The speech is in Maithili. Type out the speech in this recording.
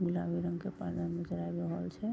गुलाबी रंग के पर्दा नजर आ रहल छै।